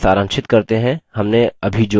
चलिए सारांशित करते हैं हमने अभी जो कहा